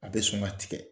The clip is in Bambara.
A bɛ sɔn ka tigɛ